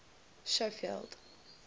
schofield